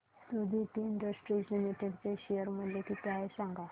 Suditi industries limited चे share मूल्य किती आहे सांगा